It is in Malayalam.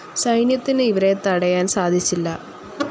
സൈന്യത്തിന് ഇവരെ തടയാൻ സാധിച്ചില്ല.